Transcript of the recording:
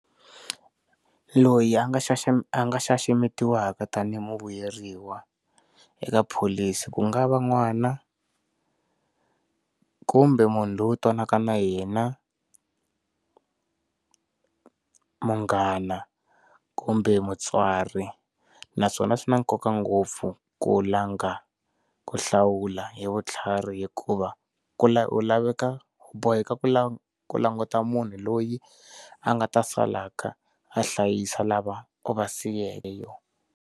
Loyi a nga xaxa a nga xaxametiwaka tanihi muvuyeriwa eka pholisi ku nga va n'wana, kumbe munhu loyi twanaka na yena, munghana kumbe mutswari naswona swi na nkoka ngopfu ku langa ku hlawula hi vutlhari hikuva ku wu laveka boheka ku languta munhu loyi a nga ta salaka a hlayisa lava u vasiyileyo.